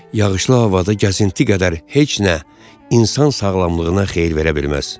Yağışlı havada gəzinti qədər heç nə insan sağlamlığına xeyir verə bilməz.